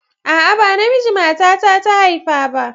A'a, ba namiji matata ta haifa ba.